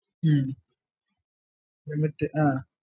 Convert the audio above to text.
ഹും limit ആഹ്